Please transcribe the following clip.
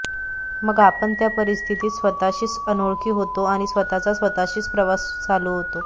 मग आपण त्या परिस्थितीत स्वतःशीच अनोळखी होतो आणि स्वतःचा स्वतःशीच प्रवास चालू होतो